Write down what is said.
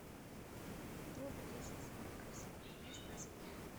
топ десять самых красивых мест на земле